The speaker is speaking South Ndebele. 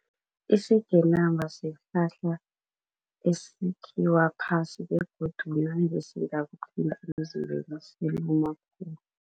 Isigenama sihlahla esikhiwa phasi